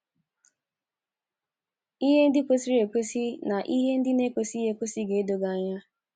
Ihe ndị kwesịrị ekwesị na ihe ndị na - ekwesịghị ekwesị ga - edo gị anya.